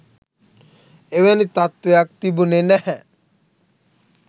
එවැනි තත්ත්වයක් තිබුණෙ නැහැ